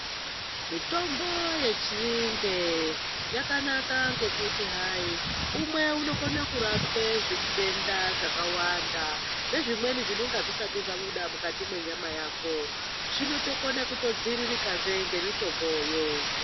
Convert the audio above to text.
Mitombo yenzinde yakanaka ngekuti hai umwe unokone kurape zvitenda zvakawanda. Nezvimweni zvinonga zvisati zvabuda mukati mwenyama yako zvinotokona kutodziririkahe nemitomboyo.